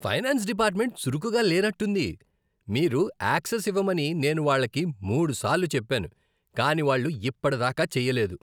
Finance department చురుకుగా లేనట్టుంది. మీకు యాక్సెస్ ఇవ్వమని నేను వాళ్లకి మూడు సార్లు చెప్పాను, కానీ వాళ్ళు ఇప్పటిదాకా చేయలేదు.